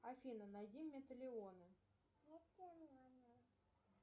афина найди металионы